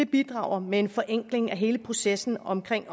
bidrager med en forenkling af hele processen omkring